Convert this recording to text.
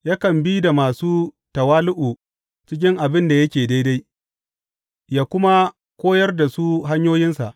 Yakan bi da masu tawali’u cikin abin da yake daidai ya kuma koyar da su hanyoyinsa.